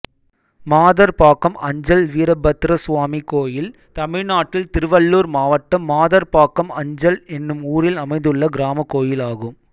மாதர்பாக்கம் அஞ்சல் வீரபத்ரசுவாமி கோயில் தமிழ்நாட்டில் திருவள்ளூர் மாவட்டம் மாதர்பாக்கம் அஞ்சல் என்னும் ஊரில் அமைந்துள்ள கிராமக் கோயிலாகும்